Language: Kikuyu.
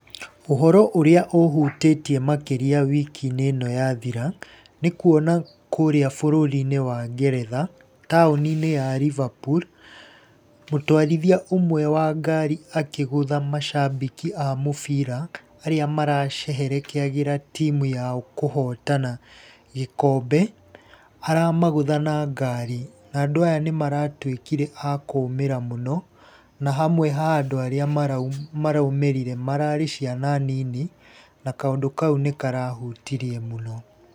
Ũhoro ũrĩa ũhutĩtie makĩria wiki-inĩ ĩno yathira nĩ kuona kũrĩa bũrũri-inĩ wa Ngeretha taũni-inĩ ya Liverpool mũtwarithia ũmwe wa ngari akigũtha macambĩki a mũbira, arĩa maraceherekeagĩra timu yao kũhotana gĩkombe, ara magũtha na ngari na andũ aya nĩ maratuĩkire a kũũmĩra mũno, na hamwe ha andũ arĩa maraũmĩrire mararĩ ciana nini, na kaũndũ kau nĩ karahutirie mũno.